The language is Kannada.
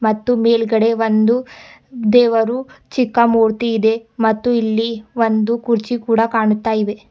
ಮತ್ತು ಮೇಲ್ಗಡೆ ಒಂದು ದೇವರು ಚಿಕ್ಕ ಮೂರ್ತಿ ಇದೆ ಮತ್ತು ಇಲ್ಲಿ ಒಂದು ಕುರ್ಚಿ ಕೂಡ ಕಾಣುತ್ತಾಯಿವೆ.